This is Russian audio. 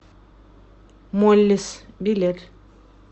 моллис билет